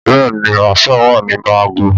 Bẹ́ẹ̀ ni, Marshal wà nínú àgọ́